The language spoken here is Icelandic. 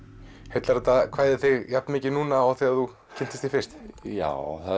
heillar þetta kvæði þig jafn mikið núna og þegar þú kynntist því fyrst já